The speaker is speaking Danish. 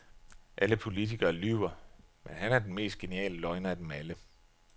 Alle politikere lyver, men han er den mest geniale løgner af dem alle.